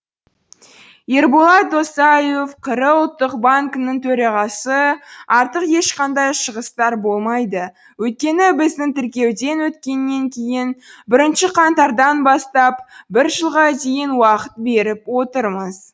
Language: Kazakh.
ерболат досаев қр ұлттық банкінің төрағасы артық ешқандай шығыстар болмайды өйткені біздің тіркеуден өткеннен кейін бірінші қаңтардан бастап бір жылға дейін уақыт беріп отырмыз